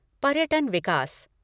पर्यटन विकास